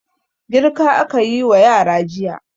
Girka aka yi wa yara jiya.